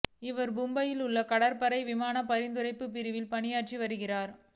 இவர் மும்பையில் உள்ள கடற்படையின் விமானப் பராமரிப்புப் பிரிவில் பணியாற்றி வருகிறார்